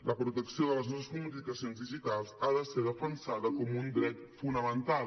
la protecció de les nostres comunicacions digitals ha de ser defensada com un dret fonamental